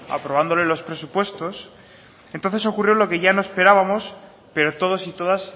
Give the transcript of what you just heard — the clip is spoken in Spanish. aprobándole los presupuestos entonces ocurrió lo que ya no esperábamos pero todos y todas